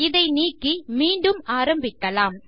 இதை நீக்கி மீண்டும் ஆரம்பிக்கலாம்